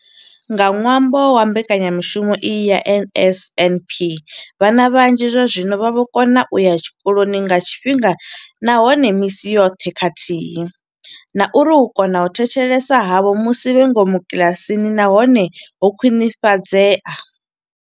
Nga ṅwambo wa mbekanyamushumo iyi ya NSNP, vhana vhanzhi zwazwino vha vho kona u ya tshikoloni nga tshifhinga nahone misi yoṱhe khathihi na uri u kona u thetshelesa havho musi vhe ngomu kiḽasini na hone ho khwinifhadzea.